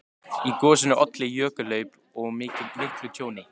Í gosinu olli jökulhlaup og miklu tjóni.